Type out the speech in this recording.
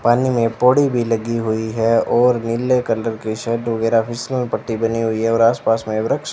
पानी मे पौड़ी भी लगी हुई है और नीले कलर के शर्ट वगेरह फिसल पट्टी बनी हुई है और आस पास मे वृक्ष --